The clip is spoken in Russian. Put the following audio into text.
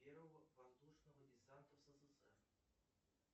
первого воздушного десант ссср